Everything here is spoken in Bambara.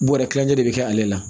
Bɔrɛ kilancɛ de bɛ kɛ ale la